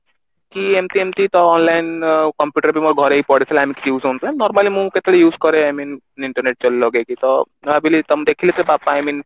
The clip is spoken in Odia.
କି ଏମତି ଏମତି ତ online computer ବି ମୋ ଘରେ ହିଁ ପଡିଥିଲା normally ମୁଁ କେତେବେଳେ use କରେ I mean internet ଲଗେଇକି ତ ମୁଁ ଭାବିଲି ତ ମୁଁ ଦେଖିଲି ସେ ବାପା I mean